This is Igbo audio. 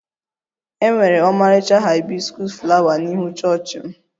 E nwere ọmarịcha haibiskus flawa n'ihu chọọchị m